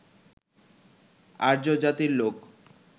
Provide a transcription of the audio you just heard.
আর্য জাতির লোক